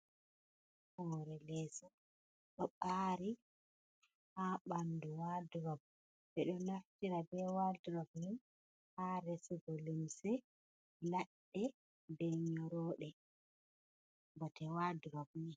Hoore leeso ɗo ɓaari haa ɓanndu wat-rop, ɓe ɗo naftira be wat-rop ni, haa resugo lumse labɗe be nyorooɗe bote wat-rop ni.